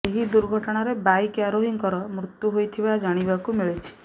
ଏହି ଦୁର୍ଘଟଣାରେ ବାଇକ୍ ଆରୋହୀଙ୍କର ମୃତ୍ୟୁ ହୋଇଥିବା ଜାଣିବାକୁ ମିଳିଛି